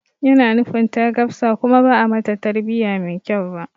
Yana nufin ta gafsa kuma ba'a mata tarbiya mai kyau ba